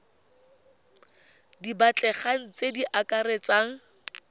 di batlegang tse di akaretsang